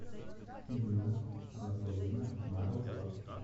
инна анатольевна морозова